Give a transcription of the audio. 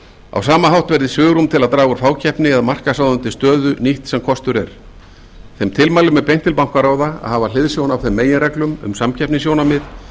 á sama hátt verði svigrúm til að draga úr fákeppni eða markaðsráðandi stöðu nýtt sem kostur er þeim tilmælum er beint til bankaráða að hafa hliðsjón af þeim meginreglum um samkeppnissjónarmið